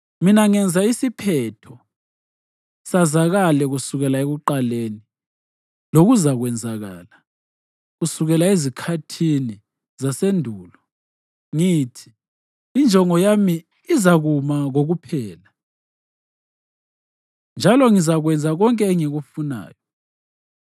Mina ngenza isiphetho sazakale kusukela ekuqaleni lokuzakwenzakala, kusukela ezikhathini zasendulo. Ngithi: ‘Injongo yami izakuma kokuphela, njalo ngizakwenza konke engikufunayo.’